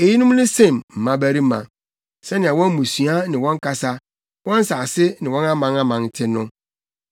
Eyinom ne Sem mmabarima, sɛnea wɔn mmusua ne wɔn kasa, wɔn nsase ne wɔn amanaman te no.